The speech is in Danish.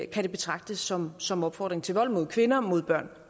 kan betragtes som som opfordring til vold mod kvinder og mod børn